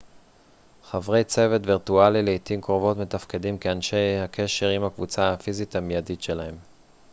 חברי צוות וירטואלי לעתים קרובות מתפקדים כאנשי הקשר עם הקבוצה הפיזית המידית שלהם